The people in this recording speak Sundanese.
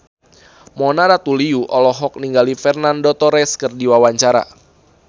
Mona Ratuliu olohok ningali Fernando Torres keur diwawancara